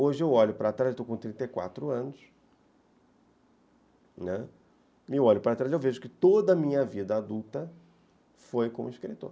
Hoje eu olho para trás, estou com trinta e quatro anos, e olho para trás e vejo que toda a minha vida adulta foi como escritor.